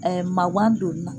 mawan donni na.